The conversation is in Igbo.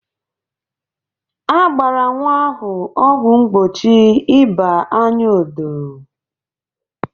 A gbara nwa ahụ ọgwọ mgbochie ịba anya odo.